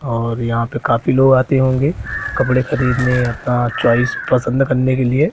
और यहां पे काफी लोग आते होंगे कपड़े खरीदने अपना चॉइस पसंद करने के लिए।